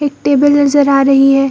एक टेबल नजर आ रही है।